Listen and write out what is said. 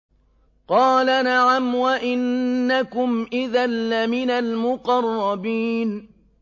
قَالَ نَعَمْ وَإِنَّكُمْ إِذًا لَّمِنَ الْمُقَرَّبِينَ